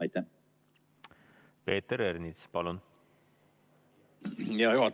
Peeter Ernits, palun!